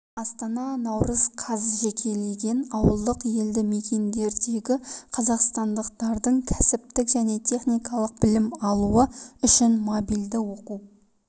астана наурыз қаз жекелеген ауылдық елді мекендердегі қазақстандықтардың кәсіптік және техникалық білім алуы үшін мобильді оқу